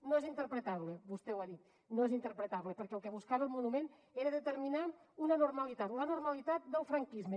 no és interpretable vostè ho ha dit perquè el que buscava el monument era determinar una normalitat la normalitat del franquisme